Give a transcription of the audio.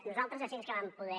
nosaltres així que vam poder